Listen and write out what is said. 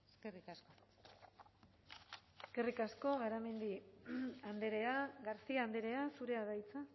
eskerrik asko eskerrik asko garamendi andrea garcia andrea zurea da hitza